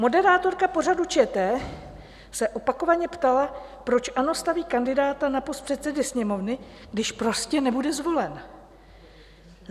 Moderátorka pořadu ČT se opakovaně ptala, proč ANO staví kandidáta na post předsedy Sněmovny, když prostě nebude zvolen.